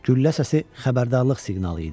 Güllə səsi xəbərdarlıq siqnalı idi.